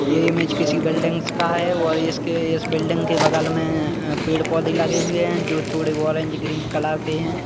ये इमेज किसी बिल्डिंग्स का है और इस बिल्डिंग के बगल मे पेड़ पौधे लगे हुए है जो थोड़े ऑरेंज ग्रीन कलर के है।